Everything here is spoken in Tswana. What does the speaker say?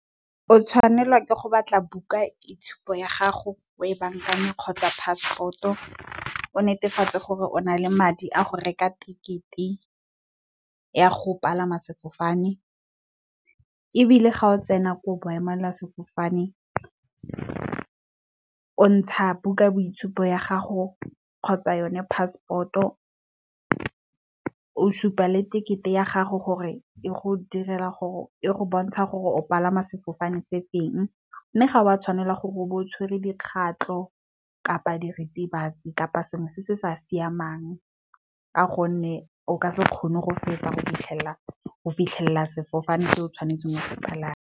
O tshwanelwa ke go batla buka itshupo ya gago o e bankanye, kgotsa passport o netefatse gore o na le madi a go reka tekete ya go palama sefofane ebile, ga o tsena ko boemela sefofane o ntsha buka ya boitshupo ya gago, kgotsa yone passport o supa le tekete ya gago gore e go bontshe gore o palama sefofane se feng. Mme, ga wa tshwanela gore o bo o tshwere dikgatlo kapa diritibatsi, kapa sengwe se se sa siamang ka gonne, o ka se kgone go feta go fitlhelela go fitlhelela sefofane se o tshwanetseng o se palame.